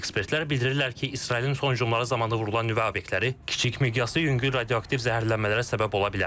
Ekspertlər bildirirlər ki, İsrailin son hücumları zamanı vurulan nüvə obyektləri kiçik miqyaslı yüngül radioaktiv zəhərlənmələrə səbəb ola bilər.